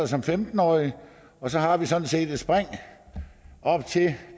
som femten årig og så har vi sådan set et spring op til